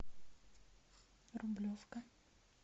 рублевка